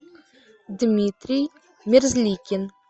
дмитрий мерзликин